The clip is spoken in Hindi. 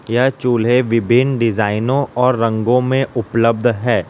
यह चूल्हे विभिन्न डिजाइनों और रंगों में उपलब्ध है।